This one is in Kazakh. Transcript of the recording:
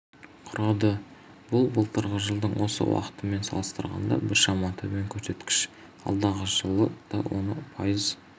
құрады бұл былтырғы жылдың осы уақытымен салыстырғанда біршама төмен көрсеткіш алдағы жылы да оны пайыз